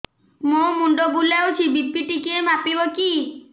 ମୋ ମୁଣ୍ଡ ବୁଲାଉଛି ବି.ପି ଟିକିଏ ମାପିବ କି